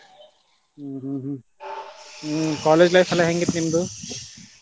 ಹ್ಮ್ hmm hmm, college life ಎಲ್ಲಾ ಹೆಂಗ ಇತ್ತ ನಿಮ್ದು?